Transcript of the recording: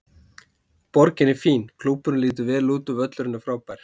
Borgin er fín, klúbburinn lítur vel út og völlurinn er frábær.